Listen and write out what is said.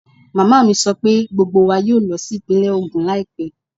Màmá mi sọ pé gbogbo wa yóò lọ sí ìpínlẹ̀ Ogun láìpẹ́